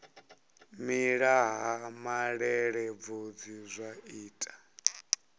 mela ha malelebvudzi zwa ita